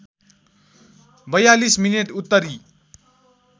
४२ minute उत्तरी